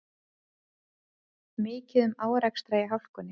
Mikið um árekstra í hálkunni